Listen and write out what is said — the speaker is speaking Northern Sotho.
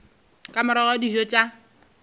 ka morago ga dijo tša